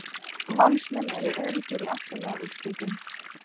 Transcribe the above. Valsmenn öruggir í átta liða úrslitin